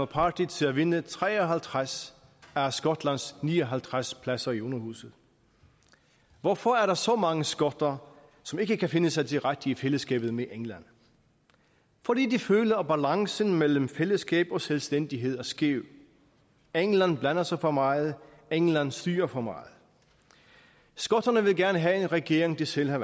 party til at vinde tre og halvtreds af skotlands ni og halvtreds pladser i underhuset hvorfor er der så mange skotter som ikke kan finde sig til rette i fællesskabet med england fordi de føler at balancen mellem fællesskab og selvstændighed er skæv england blander sig for meget england styrer for meget skotterne vil gerne have en regering de selv har